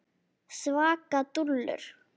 Svaka dúllur!